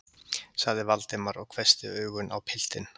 sagði Valdimar og hvessti augun á piltinn.